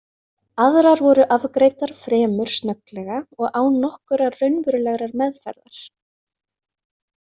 Aðrar voru afgreiddar fremur snögglega og án nokkurrar raunverulegrar meðferðar.